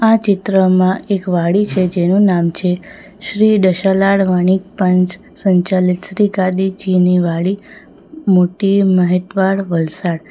આ ચિત્રમાં એક વાડી છે જેનું નામ છે શ્રી દશાલાડ વાણીક પંચ સંચાલિત શ્રી ગાદીજીની વાડી મોટી મહેતવાડ વલસાડ.